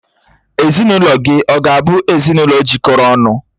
Ezinụlọ gị ọ̀ ga-abụ ezinụlọ jikọrọ ọnụ?